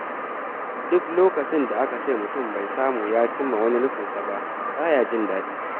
Duk lokacin da aka ce mutum bai samu ya cimma wani nufinsa ba, ba ya jin daɗi.